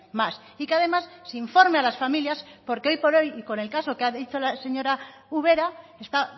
más y que además se informe a las familias porque hoy por hoy y con el caso que ha dicho la señora ubera está